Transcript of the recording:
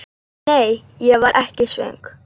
Nei, ég var ekki svöng.